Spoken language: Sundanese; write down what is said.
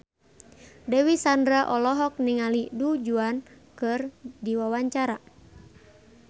Dewi Sandra olohok ningali Du Juan keur diwawancara